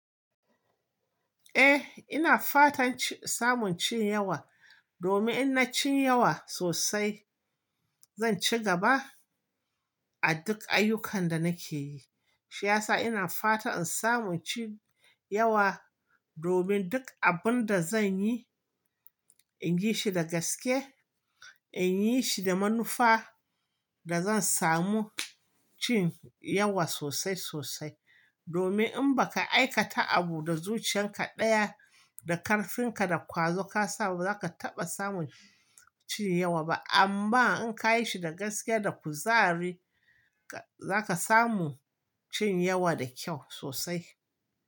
Eh, ina fatan ci, samun cin yawa domin in na ci yawa sosai, zan ci gaba a duk ayyukan da nake yi. Shi ya sa ina fatan in samu in cin yawa, domin duk abun da zanyi, in yi shi da gaske, in yi shi da manufa da zan samu cin yawa sosai-sosai. Domin in baka aikata abu da zuciyan ka ɗaya da karfin ka da ƙwazo ka sa ba, ba za ka taɓa samun cin yawa ba. Amma in ka yi shi da gaskiya da kuzari, zaka samu cin yawa da kyau sosai.